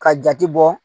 Ka jate bɔ